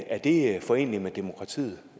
er det foreneligt med demokratiet